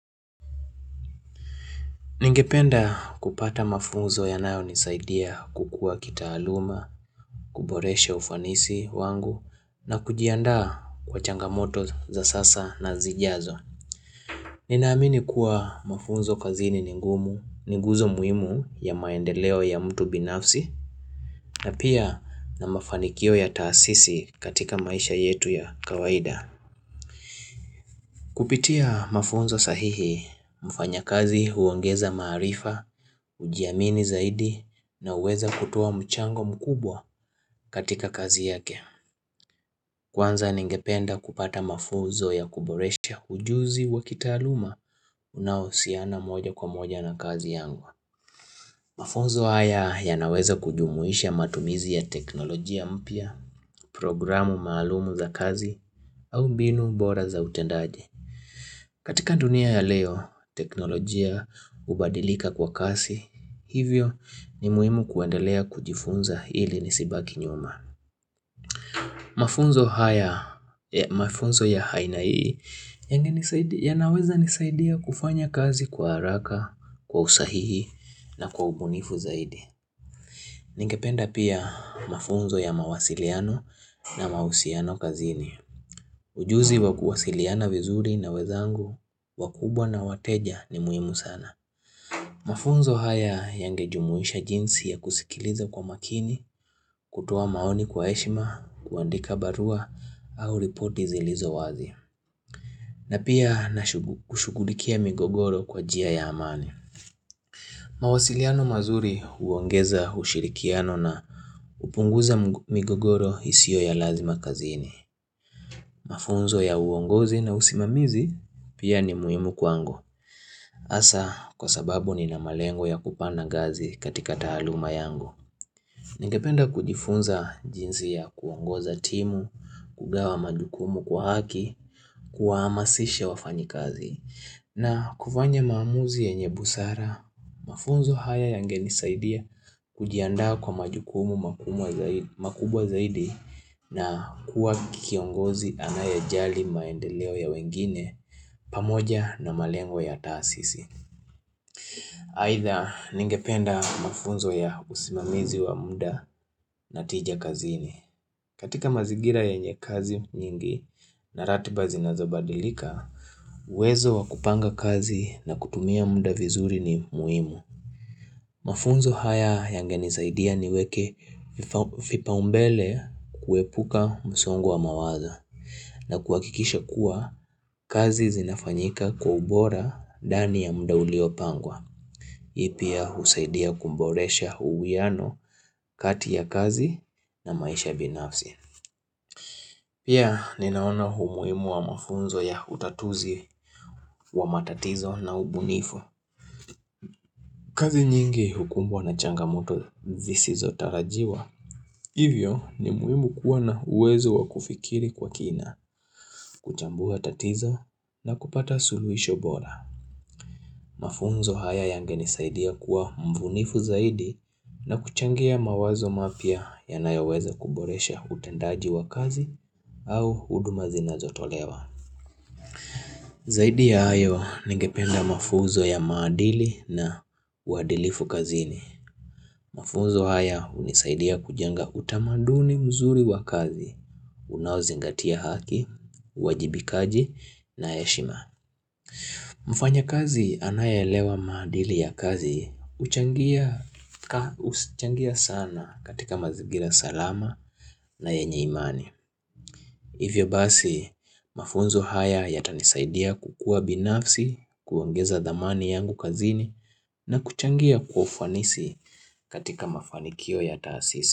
Ningependa kupata mafunzo yanayonisaidia kukua kitaaluma, kuboresha ufanisi wangu na kujiandaa kwa changamoto za sasa na zijazo. Ninaamini kuwa mafunzo kazini ni ngumu, ni nguzo muhimu ya maendeleo ya mtu binafsi na pia na mafanikio ya taasisi katika maisha yetu ya kawaida. Kupitia mafunzo sahihi, mfanyakazi huongeza maarifa, hujiamini zaidi na huweza kutoa mchango mkubwa katika kazi yake. Kwanza ningependa kupata mafunzo ya kuboresha ujuzi wa kitaaluma unaohusiana moja kwa moja na kazi yangu. Mafunzo haya y naweza kujumuisha matumizi ya teknolojia mpya, programu maalumu za kazi, au mbinu bora za utendaji. Katika dunia ya leo, teknolojia, ubadilika kwa kasi hivyo ni muhimu kuendelea kujifunza ili nisibaki nyuma Mafunzo haya mafunzo ya haina hii yanaweza nisaidia kufanya kazi kwa haraka, kwa usahihi na kwa ubunifu zaidi Ningependa pia mafunzo ya mawasiliano na mausiano kazini Ujuzi wa kuwasiliana vizuri na wezangu, wakubwa na wateja ni muhimu sana. Mafunzo haya yangejumuisha jinsi ya kusikiliza kwa makini, kutoa maoni kwa heshima, kuandika barua au ripoti zilizo wazi. Na pia na kushugulikia migogoro kwa jia ya amani. Mawasiliano mazuri huongeza ushirikiano na upunguza migogoro isio ya lazima kazini. Mafunzo ya uongozi na usimamizi pia ni muhimu kwangu Asa kwa sababu nina malengo ya kupanda ngazi katika taaluma yangu Ningependa kujifunza jinsi ya kuongoza timu, kugawa majukumu kwa haki, kuwaamasisha wafanyikazi na kufanya maamuzi yenye busara, mafunzo haya yangenisaidia kujiandaa kwa majukumu makubwa zaidi na kuwa kiongozi anayejali maendeleo ya wengine pamoja na malengo ya taasisi. Aidha ningependa mafunzo ya usimamizi wa muda na tija kazini. Katika mazigira yenye kazi nyingi na ratiba zinazobadilika, uwezo wa kupanga kazi na kutumia muda vizuri ni muimu. Mafunzo haya yangenisaidia niweke vipaumbele kuepuka msongo wa mawazo. Na kuhakikisha kuwa, kazi zinafanyika kwa ubora ndani ya mda uliopangwa. Pia husaidia kumboresha uwiano kati ya kazi na maisha binafsi. Pia ninaona humuimu wa mafunzo ya utatuzi wa matatizo na ubunifu. Kazi nyingi hukumbwa na changamoto zisizotarajiwa. Hivyo ni muimu kuwa na uwezo wa kufikiri kwa kina, kuchambua tatizo na kupata suluhisho bora. Mafunzo haya yangenisaidia kuwa mvunifu zaidi na kuchangia mawazo mapya yanayoweza kuboresha utendaji wa kazi au huduma zinazotolewa. Zaidi ya hayo, ningependa mafunzo ya maadili na uadilifu kazini. Mafunzo haya hunisaidia kujenga utamaduni mzuri wa kazi, unaozingatia haki, uwajibikaji na heshima. Mfanyakazi anayeelewa maadili ya kazi, huchangia sana katika mazigira salama na yenye imani. Hivyo basi, mafunzo haya yatanisaidia kukuwa binafsi, kuongeza dhamani yangu kazini na kuchangia kwa ufanisi katika mafanikio ya taasisi.